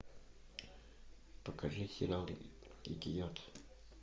покажи сериал дикий яд